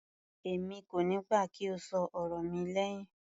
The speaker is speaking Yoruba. Èmi kò níí gbà kí o ṣọ ọ̀rọ̀ mi lẹhin.